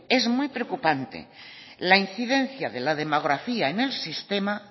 es muy preocupante la incidencia de la demografía en el sistema